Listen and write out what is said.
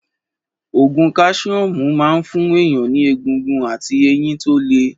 Ògùn káṣíọ́mù máa ń fún èèyàn ní egungun àti eyin tó le